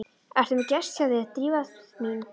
Ertu með gest hjá þér, Drífa mín?